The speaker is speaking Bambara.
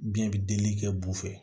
Biyɛn bɛ delili kɛ bu fɛ